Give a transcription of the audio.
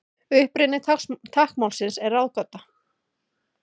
Uppruni táknmálsins er ráðgáta.